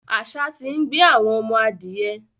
Àṣà ti ń gbé àwọn ọmọ adìyẹ.